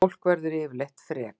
Fólk verður yfirleitt frek